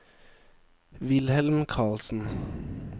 Wilhelm Carlsen